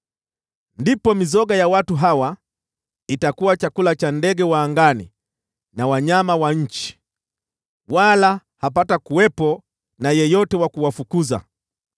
Ndipo mizoga ya watu hawa itakuwa chakula cha ndege wa angani na wanyama wa nchi, wala hapatakuwepo na yeyote wa kuwafukuza.